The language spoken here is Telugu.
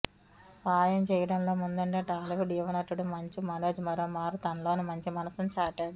సాయం చేయడంలో ముందుండే టాలీవుడ్ యువ నటుడు మంచు మనోజ్ మరోమారు తనలోని మంచి మనసును చాటాడు